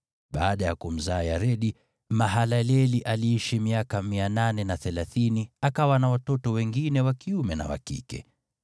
Baada ya kumzaa Yaredi, Mahalaleli aliishi miaka 830, akawa na watoto wengine wa kiume na wa kike.